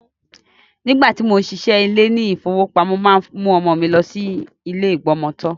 Nígbàtí, mò ń ṣiṣẹ́ ní ilé ìfowópamọ́, mo máa ń mú ọmọ mi lọ sí ilé ìgbọmọtọ́.